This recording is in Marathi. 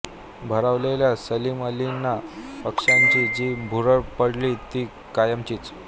भारावललेल्या सलीम अलींना पक्ष्यांची जी भुरळ पडली ती कायमचीच